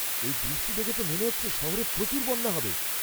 এই বৃষ্টি দেখে তো মনে হচ্ছে শহরে প্রচুর বন্যা হবে।